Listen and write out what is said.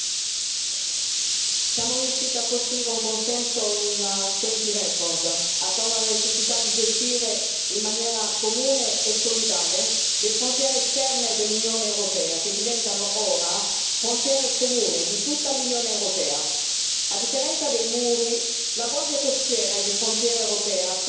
Signora Presidente, onorevoli colleghi, siamo riusciti a costruire un consenso in tempi record attorno alla necessità di gestire, in maniera comune e solidale, le frontiere esterne dell'Unione europea, che diventano ora frontiere comuni di tutta l'Unione europea. A differenza dei muri, la Guardia costiera e di frontiera europea sarà formata da persone,